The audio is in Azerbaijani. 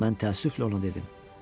Mən təəssüflə ona dedim: